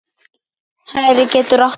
Hægri getur átt við